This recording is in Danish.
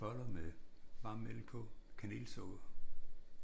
Boller med varm mælk på og kanelsukker